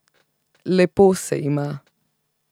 Lepo se ima.